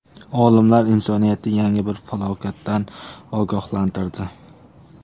Olimlar insoniyatni yangi bir falokatdan ogohlantirdi.